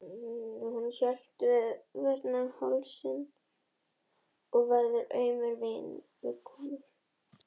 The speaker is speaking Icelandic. Hún hélt varla höfði fyrir þreytu og vöðvarnir í hálsi og herðum voru aumir viðkomu.